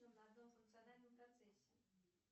на одном функциональном процессе